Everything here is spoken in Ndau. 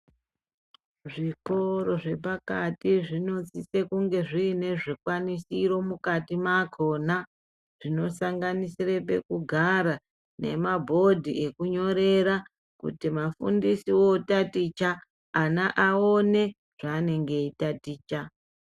Zvikoro zvepakati zvinosise kunge zviine zvikwanisiro mukati makona. Zvinosanganisire pekugara nemabhodhi ekunyorera kuti mafundisi votaticha ana aone zvanenge eitaticha.